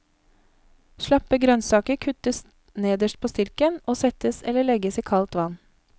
Slappe grønnsaker kuttes nederst på stilken og settes eller legges i kaldt vann.